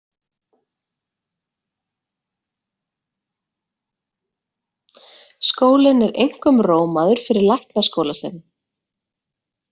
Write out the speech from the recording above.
Skólinn er einkum rómaður fyrir læknaskóla sinn.